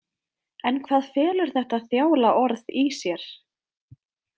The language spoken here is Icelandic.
En hvað felur þetta þjála orð í sér?